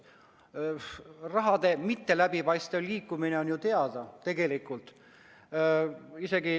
Raha mitteläbipaistev liikumine on ju teada, tegelikult.